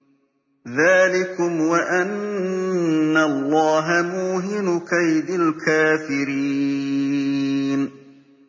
ذَٰلِكُمْ وَأَنَّ اللَّهَ مُوهِنُ كَيْدِ الْكَافِرِينَ